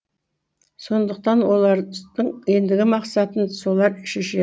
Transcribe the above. сондықтан олардың ендігі мақсатын солар шешеді